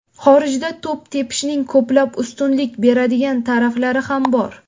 Xorijda to‘p tepishning ko‘plab ustunlik beradigan taraflari ham bor.